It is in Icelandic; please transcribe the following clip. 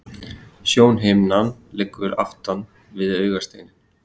Sjónhimnan liggur aftan við augasteininn.